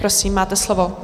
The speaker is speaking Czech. Prosím, máte slovo.